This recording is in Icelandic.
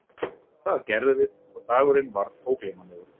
Það gerðum við og dagurinn varð ógleymanlegur.